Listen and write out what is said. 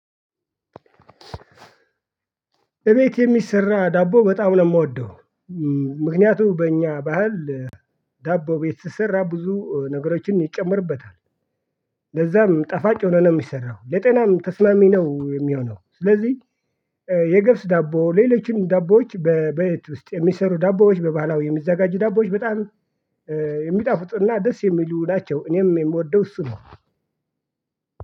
እቤት የሚሰራ ዳቦ በጣም ነው የምወደው። ምክንያቱም በእኛ ባህል ዳቦ ቤት ስሰራ ብዙ ነገሮችን ይጨመርበታል። ለዛም ጠፋጭ ሆኖ ነው የሚሰራው ለጤናም ተስማሚ ነው የሚሆነው። ስለዚህ የገብስ ዳቦ ሌሎችም ዳቦዎች በቤት ውስጥ የሚሰሩ ዳቦዎች በባህላዊ የሚዘጋጁ ዳቦዎች በጣም የሚጣፉጥና ደስ የሚሉ ናቸው። እኔም የምወደው እሱ ነው